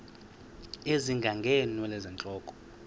ezinga ngeenwele zentloko